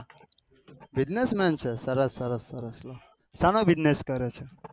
Bussiness man સરસ સરસ સરસ સનો business કરે છે.